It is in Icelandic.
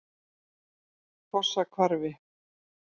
Fossahvarfi